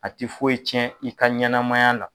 A tɛ foyi tiɲɛn i ka ɲɛnamaya la.